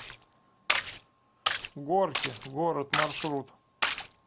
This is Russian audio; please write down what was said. горки город маршрут